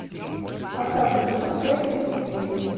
остаться в живых часть тридцать девять